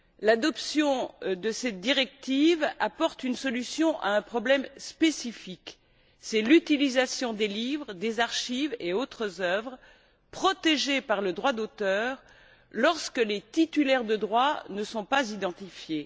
L'adoption de cette directive apporte une solution à un problème spécifique, à savoir l'utilisation des livres, des archives et autres œuvres protégées par le droit d'auteur lorsque les titulaires de droits ne sont pas identifiés.